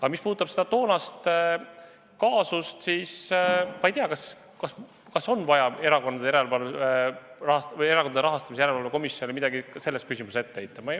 Aga mis puudutab seda toonast kaasust, siis ma ei tea, kas on vaja Erakondade Rahastamise Järelevalve Komisjonile midagi selles küsimuses ette heita.